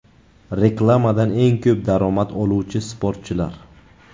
Reklamadan eng ko‘p daromad oluvchi sportchilar .